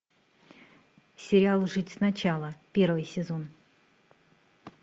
сериал жить сначала первый сезон